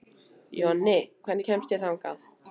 Jonni, hvernig kemst ég þangað?